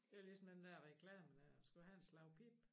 Det var ligesom den der reklame dér skal du have et slag pip